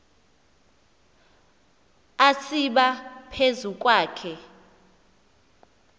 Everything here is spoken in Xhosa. atsiba phezu kwakhe